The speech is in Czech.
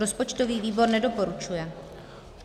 Rozpočtový výbor nedoporučuje.